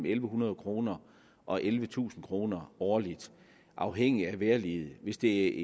en hundrede kroner og ellevetusind kroner årligt afhængigt af vejrliget hvis det